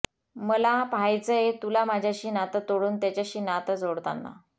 मला पहायचंय तुला माझ्याशी नात तोडून त्याच्याशी नात जोडताना